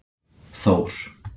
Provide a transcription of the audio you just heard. Þór